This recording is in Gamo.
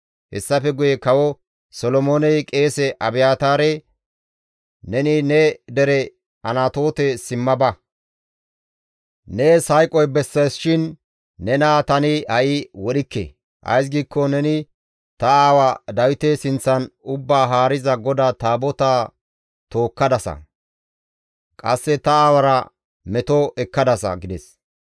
Hessafe guye Kawo Solomooney qeese Abiyaataare, «Neni ne dere Anatoote simma ba; nees hayqoy besseesishin nena tani ha7i wodhikke. Ays giikko neni ta aawaa Dawite sinththan Ubbaa Haariza GODAA Taabotaa tookkadasa; qasse ta aawara meto ekkadasa» gides.